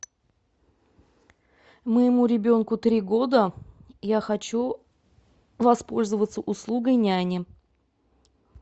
моему ребенку три года я хочу воспользоваться услугой няни